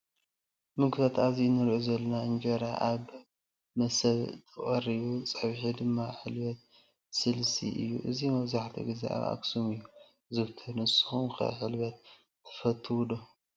ምግብታት ኣብዚ እንሪኦ ዘለና እንጀራ ኣብብ መሰብ ተቀሪቡ ፀብሒ ድማ ሕልበት ብስልሲ እዩ። እዚ መብዛሕቲኡ ግዛ ኣብ ኣክሱም እዩ ዝዝውተር። ንስኩም ከ ሕልበት ትፈትዎ ዶ?